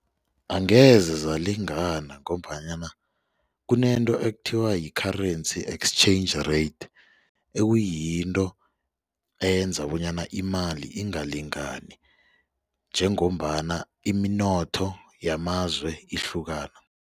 Angeze zalingana ngombanyana kunento ekuthiwa yi-currency exchange rate ekuyinto eyenza bonyana imali ingalingani njengombana iminotho yamazwe ihlukana.